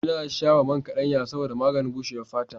Ina shafa man kaɗanya a jikina saboda maganin bushewar fata.